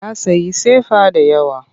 Ya sayi sefa da yawa.